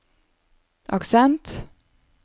aksent